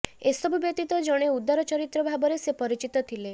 ଏସବୁ ବ୍ୟତୀତ ଜଣେ ଉଦାର ଚରିତ୍ର ଭାବରେ ସେ ପରିଚିତ ଥିଲେ